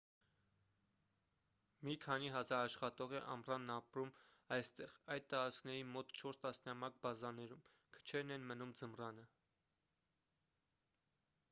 մի քանի հազար աշխատող է ամռանն ապրում այստեղ այդ տարածքների մոտ չորս տասնյակ բազաներում քչերն են մնում ձմռանը